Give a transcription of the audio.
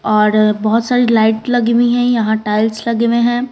और अ बहुत सारी लाइट लगी हुई हैं यहां टाइल्स लगे हुए हैं।